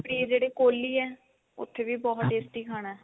ਤੇ ਜਿਹੜੇ ਕੋਹਲੀ ਹੈ ਉੱਥੇ ਵੀ ਬਹੁਤ tasty ਖਾਣਾ